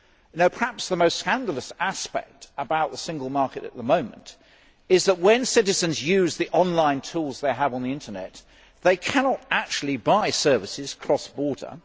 However, perhaps the most scandalous aspect of the Single Market at the moment is that, when citizens use the online tools they have on the Internet, they cannot actually buy services cross border.